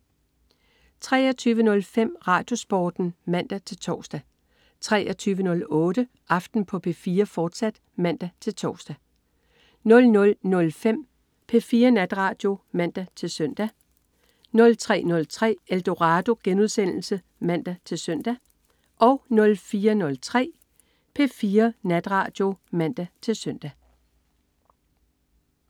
23.05 RadioSporten (man-tors) 23.08 Aften på P4, fortsat (man-tors) 00.05 P4 Natradio (man-søn) 03.03 Eldorado* (man-søn) 04.03 P4 Natradio (man-søn)